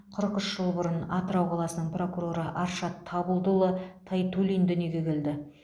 қырық үш жыл бұрын атырау қаласының прокуроры аршат табылдыұлы тайтуллин дүниеге келді